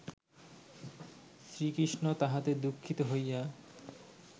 শ্রীকৃষ্ণ তাহাতে দুঃখিত হইয়া